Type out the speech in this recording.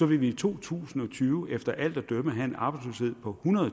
vi i to tusind og tyve efter alt at dømme have en arbejdsløshed på